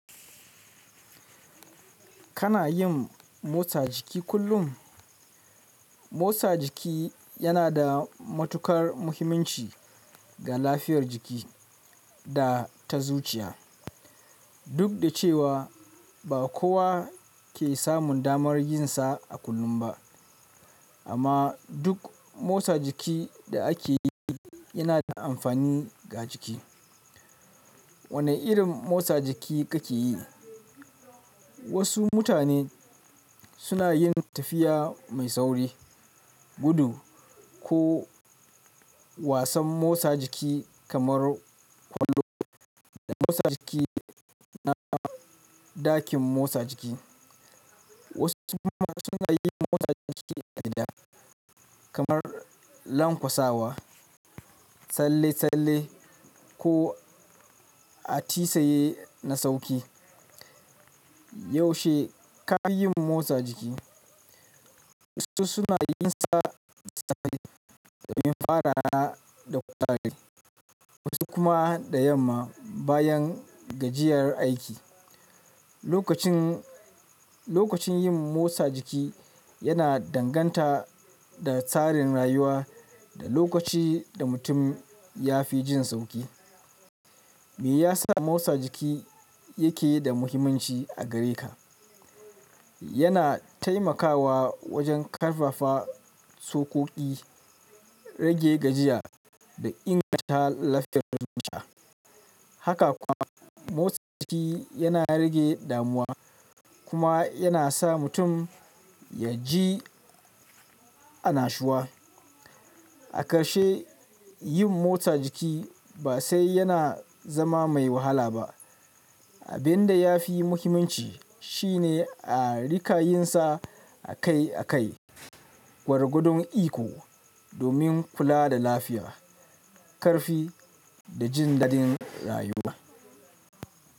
Kana yin motsa jiki kullum? Motsa jiki yana da matuƙar muhimmanci ga lafiyar jiki da ta zuciya. Duk da cewa ba kowa ke samun damar yin sa a kullum ba, amma duk motsa jiki da ake yi yana da amfani ga jiki. Wane irin motsa jiki kake yi? Wasu mutane suna yin tafiya mai sauri, gudu ko wasan motsa jiki kamar kwando da motsa jiki na ɗakin motsa jiki. Wasu kuma suna yin motsa jiki a gida, kamar lanƙwasawa, tsalle-tsalle ko atisaye na sauƙi. Yaushe ka yi motsa jiki? Wasu suna yin sa safe domin faraya da kutare, wasu kuma da yamma bayan gajiyar aiki. Lokacin, lokacin yin motsa jiki yana danganta da tsarin rayuwa da lokaci da mutum ya fi jin sauƙi. Me ya sa motsa jiki yake da muhimmanci a gare ka? Yana taimakawa wajen ƙarfafa tsokoki, rage gajiya da inganta lafiyar zuciya. Haka kuwa motsa jiki yana rage damuwa kuma yana sa mutum ya ji annashuwa. A ƙarshe, yin motsa jiki ba sai yana zama mai wahala ba. Abin da ya fi muhimmanci shine a riƙa yin sa akai akai gwargwadon iko domin kula da lafiya, ƙarfi da jin daɗin rayuwa.